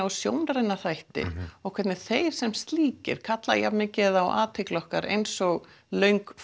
og sjónræna þætti og hvernig þeir sem slíkir kalla jafn mikið á athygli okkar eins og löng